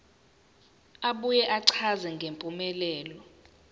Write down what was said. abuye achaze ngempumelelo